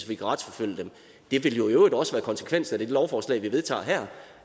vi kan retsforfølge dem det ville jo i øvrigt også være konsekvensen af det lovforslag vi vedtager her